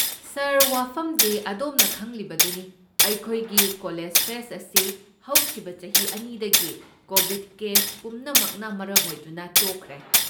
ꯁꯥꯔ, ꯋꯥꯐꯝꯗꯤ, ꯑꯗꯣꯝꯅ ꯈꯪꯂꯤꯕꯗꯨꯅꯤ ꯑꯩꯈꯣꯏꯒꯤ ꯀꯣꯂꯦꯖ ꯐꯦꯁꯠ ꯑꯁꯤ ꯍꯧꯈꯤꯕ ꯆꯍꯤ ꯑꯅꯤꯗꯒꯤ ꯀꯣꯕꯤꯗ ꯀꯦꯁ ꯄꯨꯝꯅꯃꯛꯅ ꯃꯔꯝ ꯑꯣꯏꯗꯨꯅ ꯇꯣꯛꯈ꯭ꯔꯦ꯫